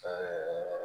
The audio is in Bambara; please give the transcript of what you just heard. Ɛɛ